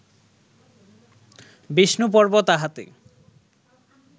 বিষ্ণুপর্ব তাহাতে